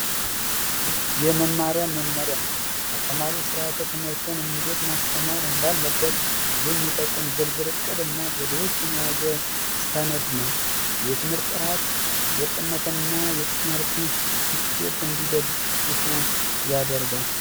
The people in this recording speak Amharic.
የመማሪያ መመሪያ አስተማሪው ስርዓተ ትምህርትን እንዴት ማስተማር እንዳለበት የሚጠቁም ዝርዝር እቅድና ዘዴዎችን የያዘ ሰነድ ነው የትምህርት ጥራት ወጥነትንና እትምህርቱን ስኬት እንዲደግፉ ያደርጋል።